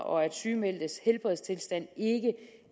og at sygemeldtes helbredstilstand ikke